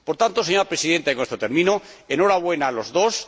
Por tanto, señora Presidenta, —y con esto termino— ¡enhorabuena a los dos!